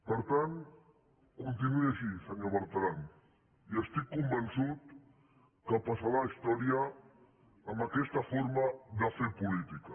per tant continuï així senyor bertran i estic convençut que passarà a la història amb aquesta forma de fer política